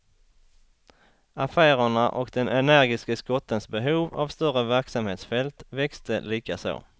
Affärerna och den energiske skottens behov av större verksamhetsfält växte likaså.